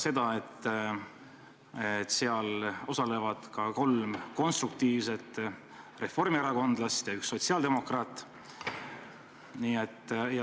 Seal osalevad ka kolm konstruktiivset reformierakondlast ja üks sotsiaaldemokraat.